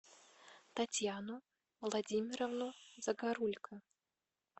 татьяну владимировну загорулько